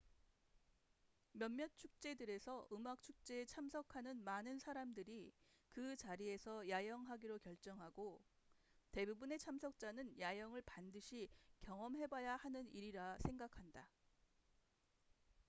몇몇 축제들에서 음악 축제에 참석하는 많은 사람들이 그 자리에서 야영하기로 결정하고 대부분의 참석자는 야영을 반드시 경험해봐야 하는 일이라 생각한다